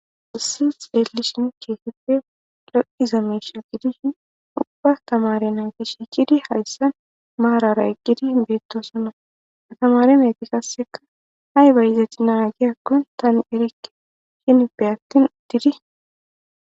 Issi kehipe loyiza misha gidishini ubba tamare nati shiqidi marara eqidi betosona ha tamare nati ayiba yotina guyako tani erike henipe atini utidi